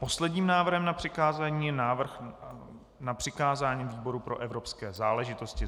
Posledním návrhem na přikázání je návrh na přikázání výboru pro evropské záležitosti.